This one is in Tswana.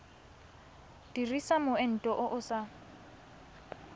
dirisa moento o o sa